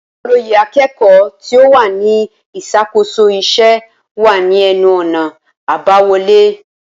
Olóyè akẹ́kọ̀ọ́ tí ó wà ní ìṣàkóso iṣẹ́ wà ní ẹnu ọ̀nà àbáwọlé